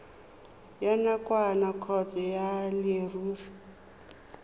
ya nakwana kgotsa ya leruri